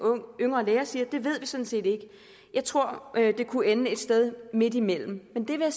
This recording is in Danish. yngre læger siger ved vi sådan set ikke jeg tror det kunne ende et sted midtimellem men det vil